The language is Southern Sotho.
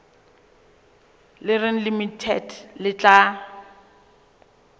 le reng limited le tla